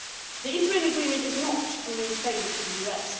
The interim agreement is not only a favour to the US